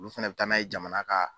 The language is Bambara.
Olu fɛnɛ bɛ taa n'a ye jamana ka.